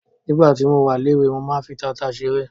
Nígbà tí mo wà léwe ,mo máa ń fi tata ṣeré.